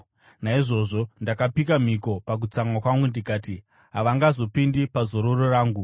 “Naizvozvo ndakapika mhiko pakutsamwa kwangu ndikati, “ ‘Havangazopindi pazororo rangu.’ ”